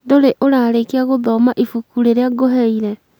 Ndũrĩ ũrarĩkĩa gũthoma ibuku rĩrĩa ngũheire?